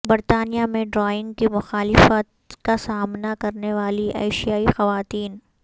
برطانیہ میں ڈرائیونگ کی مخالفت کا سامنا کرنے والی ایشیائی خواتین